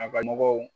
A ka mɔgɔw